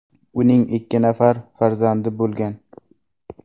Uning ikki nafar farzandi bo‘lgan.